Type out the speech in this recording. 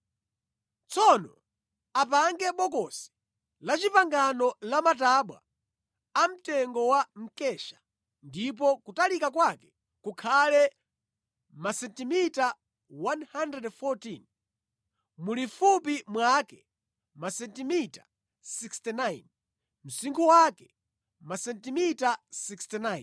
“Tsono apange bokosi lamatabwa amtengo wa mkesha, ndipo kutalika kwake kukhale masentimita 114, mulifupi mwake masentimita 69, msinkhu wake masentimita 69.